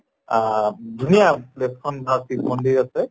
আহ ধুনীয়া শিৱ মন্দিৰ আছে